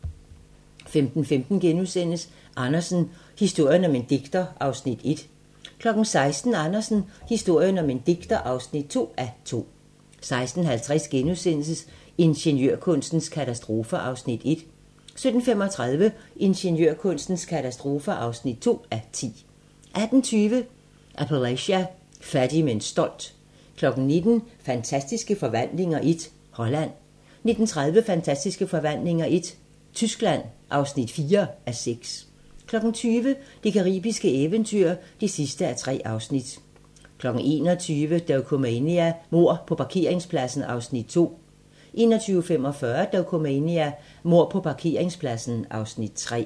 15:15: Andersen - historien om en digter (1:2)* 16:00: Andersen - historien om en digter (2:2) 16:50: Ingeniørkunstens katastrofer (1:10)* 17:35: Ingeniørkunstens katastrofer (2:10) 18:20: Appalachia - fattig, men stolt 19:00: Fantastiske Forvandlinger I - Holland 19:30: Fantastiske Forvandlinger I - Tyskland (4:6) 20:00: Det caribiske eventyr (3:3) 21:00: Dokumania: Mord på parkeringspladsen (Afs. 2) 21:45: Dokumania: Mord på parkeringspladsen (Afs. 3)